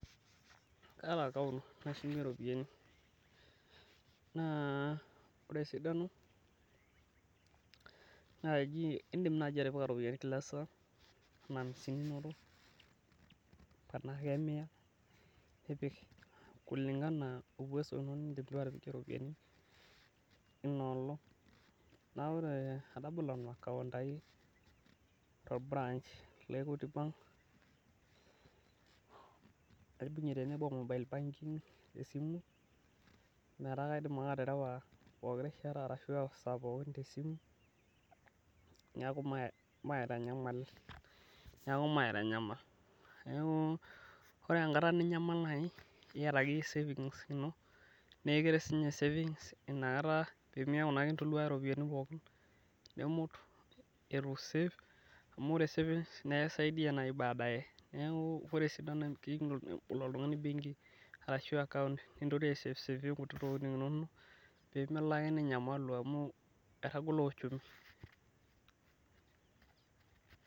kaata akaunt nashumie iropiyiani naa ore esidano naa idim atipika iropiyiani kila esaa tenaa amisini, miia, nipik kulingana ouwezo nidim, atabolo nanu akaunt ai to olburach le iikuiti bank naibungie o mobile banking meeta kaidim ake aterewa, pooki rishata arashu, esaa pooki tesimu neeku maitanyamal, neeku ore enkata ninyamal neeku iyata akeyie savings ino, neeku imut etu isave pee melo ake ninyamalu amu etagolo uchumi.